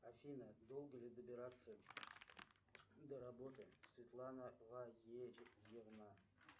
афина долго ли добираться до работы светлана валерьевна